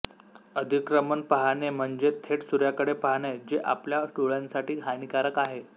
अधिक्रमण पाहणे म्हणजे थेट सूर्याकडे पाहणे जे आपल्या डोळ्यांसाठी हानिकारक आहे